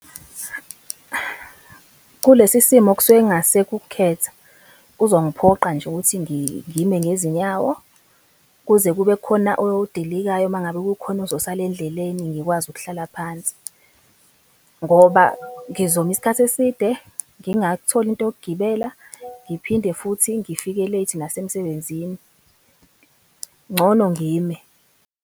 Kulesi simo kusuke kungasekho ukukhetha, kuzongiphoqa nje ukuthi ngime ngezinyawo, kuze kube khona odilikayo mangabe kukhona ozosala endleleni, ngikwazi ukuhlala phansi. Ngoba ngizoma isikhathi eside, ngingakutholi into yokugibela, ngiphinde futhi ngifike late nasemsebenzini, ngcono ngime.